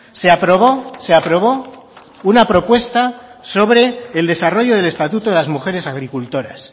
se aprobó se aprobó una propuesta sobre el desarrollo del estatuto de las mujeres agricultoras